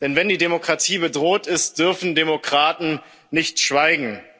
Denn wenn die Demokratie bedroht ist, dürfen Demokraten nicht schweigen.